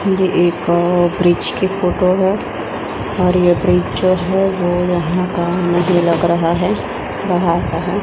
ये एक अअ ब्रिज की फोटो है और ये ब्रिज जो है वो यहां का नहीं लग रहा है बाहर का है।